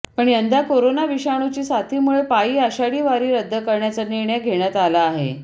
पण यंदा कोरोना विषाणूची साथीमुळे पायी आषाढी वारी रद्द करण्याचा निर्णय घेण्यात आला आहे